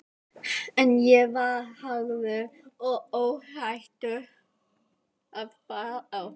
En ég var harður og óhræddur.